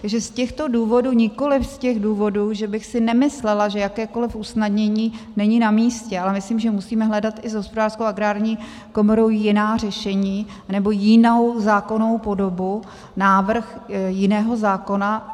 Takže z těchto důvodů, nikoliv z těch důvodů, že bych si nemyslela, že jakékoliv usnadnění není namístě, ale myslím, že musíme hledat i s Hospodářskou a Agrární komorou jiná řešení nebo jinou zákonnou podobu, návrh jiného zákona.